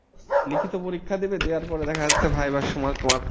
লিখিত পরীক্ষা দেবে দেয়ার পরে দেখা যাচ্ছে VIVA র সময় তোমার,